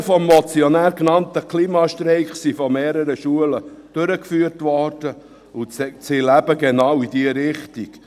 Die vom Motionär genannten Klimastreiks wurden von mehreren Schulen durchgeführt und zielen eben genau in diese Richtung.